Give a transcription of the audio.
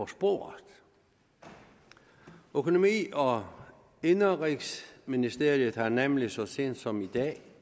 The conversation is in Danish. sporet økonomi og indenrigsministeriet har nemlig så sent som i dag